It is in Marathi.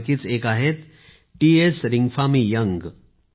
यापैकीच एक आहेत टी एस रिंगफामी योंग